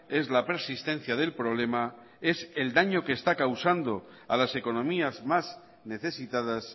es la persistencia del problema es el daño que está causando a las economías más necesitadas